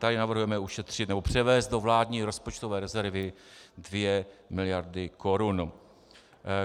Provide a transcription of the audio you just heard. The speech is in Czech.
Tady navrhujeme ušetřit nebo převést do vládní rozpočtové rezervy 2 miliardy korun.